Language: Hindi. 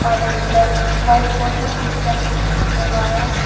और एक ब्लैक वाइट बोर्ड में इंटेल कर के लिखा हुआ है।